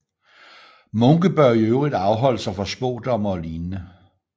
Munke bør i øvrigt afholde sig fra spådomme og lignende